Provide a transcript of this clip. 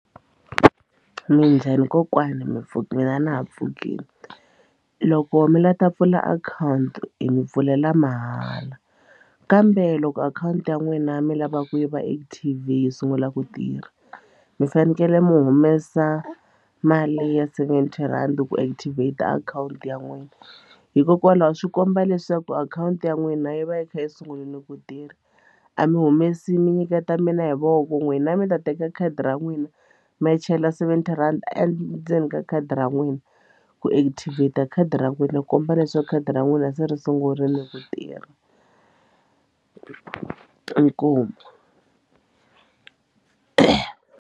Minjhani kokwani mi pfukile na mina na ha pfukini loko mi la ta pfula akhawunti hi mi pfulela mahala kambe loko akhawunti ya n'wina mi lava ku yi va active yi sungula ku tirha mi fanekele mi humesa mali leyi ya seventy rhandi ku activate akhawunti ya n'wina hikokwalaho swi komba leswaku akhawunti ya n'wina yi va yi kha yi sungunini ku tirha a mi humesi mi nyiketa mina hi voko n'wina mi ta teka khadi ra n'wina mi ya chela seventy rhandi endzeni ka khadi ra n'wina ku active ta khadi ra n'wina ku komba leswaku khadi ra n'wina se ri sungurile ku tirha inkomu.